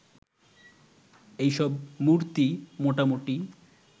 এসব মূর্তি মোটামুটি